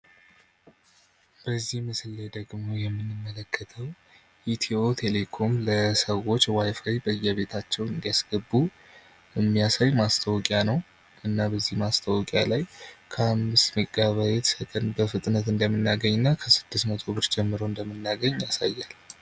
በዚህ ምስል ላይ ደግሞ የምንመለከተው ኢትዮ ቴሌኮም ለሰዎች ዋይፋይ በየቤታቸው እንዲያስገቡ ሚያሳይ ማስታወቂያ ነው ።እና በዚህ ማስታወቂያ ላይ ከ25ሜጋ ባይት በፍጥነት እንደምናገኝ እና ከ600ብር ጀምሮ እንደምናገኝ ያሳያል።